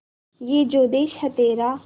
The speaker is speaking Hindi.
ये जो देस है तेरा